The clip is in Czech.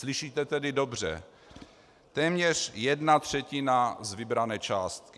Slyšíte tedy dobře: téměř jedna třetina z vybrané částky!